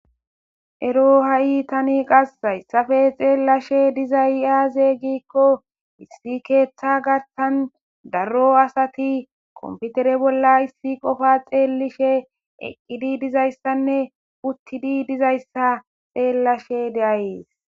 Ero ha'i tani qas zayssafe xeellashe diza iaaze giikko hissi keeththa garsan daro asati komputere bolla issi qofa xeelishe eqqidi dizayssanne uttidi dizayssa xeellashe deayees